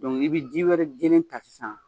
n'i be ji wɛrɛ jelen ta san